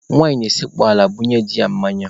Nwaanyị na-esekpu ala ebunye di ya mmanya.